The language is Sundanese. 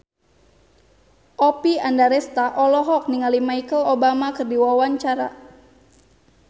Oppie Andaresta olohok ningali Michelle Obama keur diwawancara